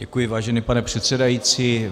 Děkuji, vážený pane předsedající.